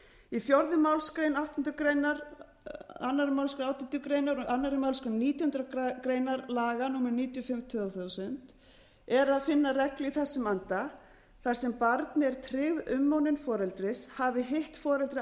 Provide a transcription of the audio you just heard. í fjórðu málsgrein áttundu grein annarri málsgrein átjándu grein og annarri málsgrein nítjánda grein laga númer níutíu og fimm tvö þúsund er að finna reglu í þessum anda þar sem barni er tryggð umönnun foreldris hafi hitt foreldrið